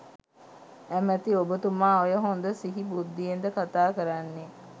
ඇමති ඔබතුමා ඔය හොඳ සිහි බුද්ධියෙන්ද කතා කරන්නේ.